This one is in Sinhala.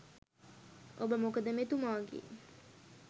ඔබ මොකද මෙතුමාගේ